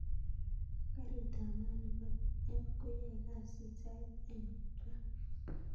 Karit ap maat nepo f. koyae kasit sait ainon raa